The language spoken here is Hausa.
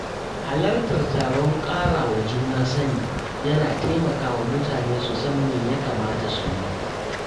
Halartar taron ƙarawa juna sani, yana taimakawa mutane su san me ya kamata su yi.